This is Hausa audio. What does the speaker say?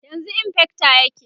yanzun infector yake